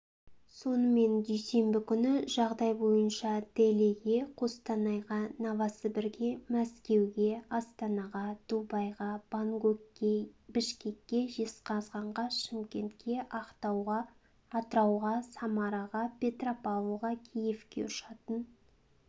сонымен дүйсенбі күні жағдай бойынша делиге қостанайға новосібірге мәскеуге астанаға дубайға бангкокке бішкекке жезқазғанға шымкентке ақтауға атырауға самараға петропавлға киевке ұшатын